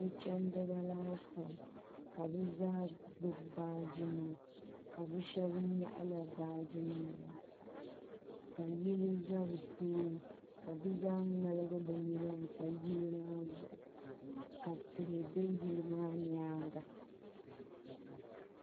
so' chandiba laasabu ka bɛ zaa gbubi baaji nima ka bɛ shɛba nyaɣi la baaji nima maa ka yili za bɛ tooni ka bɛ zaa ŋmaligi bɛ nina kpa yili maa zuɣu ka tihi be yili maa nyaaga.